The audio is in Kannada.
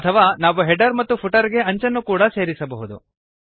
ಅಥವಾ ನಾವು ಹೆಡರ್ ಮತ್ತು ಫುಟರ್ ಗೆ ಅಂಚನ್ನು ಕೂಡಾ ಸೇರಿಸಬಹುದು